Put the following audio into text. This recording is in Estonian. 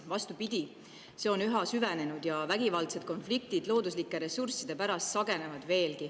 Vastupidi, see on üha süvenenud ja vägivaldsed konfliktid looduslike ressursside pärast sagenevad.